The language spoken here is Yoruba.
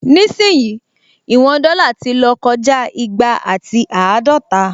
Nísìyìí, ìwọn dọ́là ti lọ́ kọjá igba àti àádọta